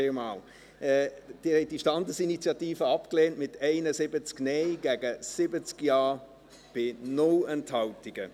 Sie haben diese Standesinitiative abgelehnt, mit 71 Nein- gegen 70 Ja-Stimmen bei 0 Enthaltungen.